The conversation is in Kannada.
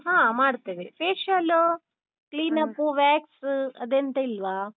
ಹಾ ಮಾಡ್ತೇವೆ. facial, clean up, wax ಅದೆಂತಿಲ್ವಾ?